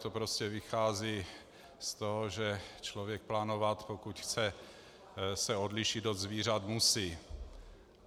To prostě vychází z toho, že člověk plánovat, pokud se chce odlišit od zvířat, musí.